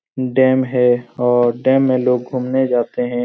Dam है और dam में लोग घुमने जाते है।